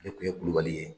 Ale kun ye kulubali ye